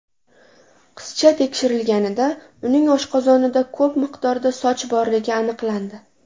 Qizcha tekshirilganida, uning oshqozonida ko‘p miqdorda soch borligi aniqlandi.